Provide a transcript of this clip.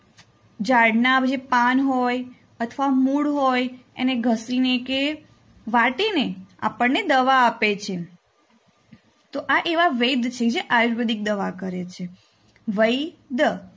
ઝાડના જે પાન હોય અથવા મૂળ હોય એને ઘસીને કે વાટીને આપણને દવા આપે છે. તો આ એવા વૈદ છે જે આયુર્વેદિક દવા કરે છે. વૈધ